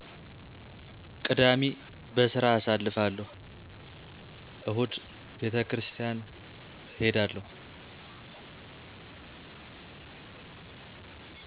ቅዳሜ በስራ አሳልፍለሁ እሁድ ቤተክሪስታን እሔዳለሁ